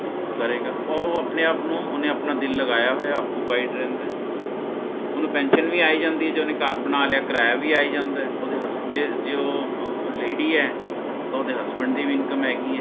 ਕਰੇਗਾ ਓਹ ਓਹ ਆਪਣੇ ਆਪ ਨੂੰ ਓਹਨੇ ਆਪਣਾ ਦਿਲ ਲਗਾਇਆ ਹੋਇਆ occupied ਰਹਿੰਦਾ ਓਹਨੂੰ pension ਵੀ ਆ ਹੀ ਜਾਂਦੀ ਹੈ ਤੇ ਓਹਨੇ ਘਰ ਬਣਾਲਿਆ ਕਿਰਾਇਆ ਵੀ ਆਇਆ ਜਾਂਦਾ ਹੈ ਓਹਦੇ hustle ਜੇ ਜੇ ਓਹ ਓਹ lady ਹੈ ਤੇ ਓਹਦੇ husband ਦੀ ਵੀ Income ਹੈਗੀ ਹੈ